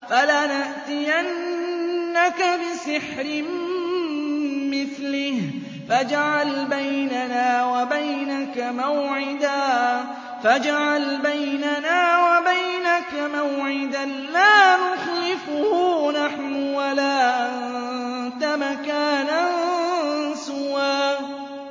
فَلَنَأْتِيَنَّكَ بِسِحْرٍ مِّثْلِهِ فَاجْعَلْ بَيْنَنَا وَبَيْنَكَ مَوْعِدًا لَّا نُخْلِفُهُ نَحْنُ وَلَا أَنتَ مَكَانًا سُوًى